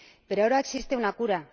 Pero ahora existe una cura.